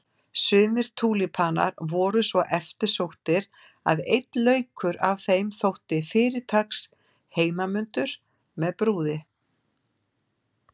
Sumir túlípanar voru svo eftirsóttir að einn laukur af þeim þótti fyrirtaks heimanmundur með brúði.